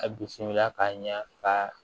A bisimila ka ɲa ka